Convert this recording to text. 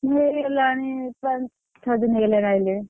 ହେ ହେଲାଣି ପନ~ଆଠ ଦିନ ହେଲାଣି ଆଇଲେଣି।